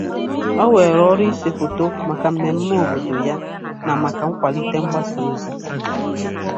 O weere ọrụ ise foto maka mmemme obodo ya na maka nkwalite mgbasa ozi.